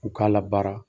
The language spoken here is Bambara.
U k'a labaara